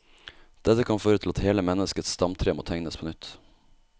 Dette kan føre til at hele menneskets stamtre må tegnes på nytt.